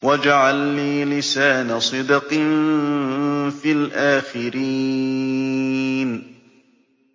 وَاجْعَل لِّي لِسَانَ صِدْقٍ فِي الْآخِرِينَ